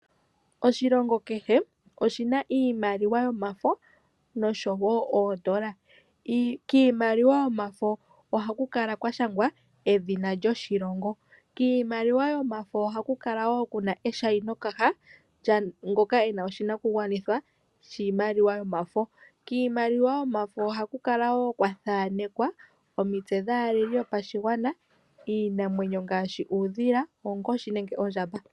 Oshilongo kehe oshina iimaliwa yomafo nosho wo oondola. Kiimaliwa yomafo ohaku kala kwa shangwa edhina lyoshilongo. Kiimaliwa mbino ohaku kala wo kuna eshainokana lyaa ngoka e na oshinakugwanithwa shiimaliwa yomafo. Ohaku kala wo kwa thanekwa omitse dhaaleli yopashigwana, iinamwenyo ngaashi uudhila, oonkoshi nenge oondjamba.